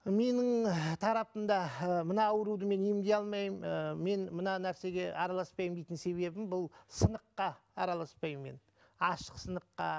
менің тарапымда мынау ауруды мен емдей алмаймын ы мен мына нәрсеге араласпаймын дейтін себебім бұл сыныққа араласпаймын мен ашық сыныққа